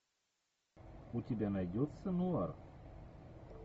у тебя найдется нуар